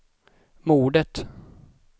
mordet